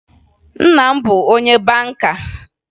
Nna m bụbu onye banka